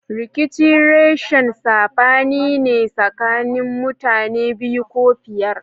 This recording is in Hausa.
Rikici reshin sabani ne sakanin mutane biyu ko fiyar.